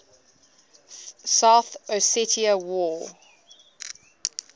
south ossetia war